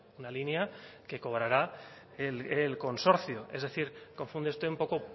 una línea que cobrará el consorcio es decir confunde usted un poco